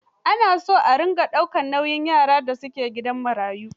Ana son a dinga daukar nauyin yaran da su ke gidan marayu.